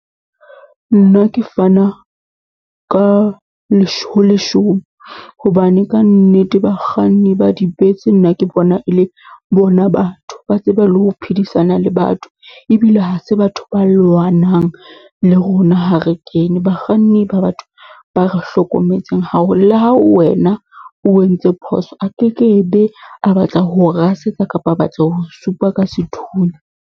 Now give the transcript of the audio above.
Nna ke fana ka , hobane kannete bakganni ba di bese nna ke bona e le bona batho. Ba tseba le ho phedisana le batho, ebile ha se ba ntho ba lwanang le rona ha re kene. Bakganni ba batho ba re hlokometseng haholo. Le ha wena o entse phoso, a ke ke be a batla ho o rasetsa kapa a batla ho o supa ka sethunya.